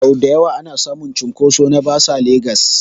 Sau dayawa ana samun cunkoso na bas a legas